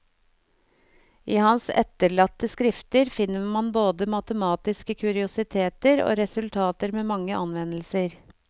I hans etterlatte skrifter finner man både matematiske kuriositeter og resultater med mange anvendelser.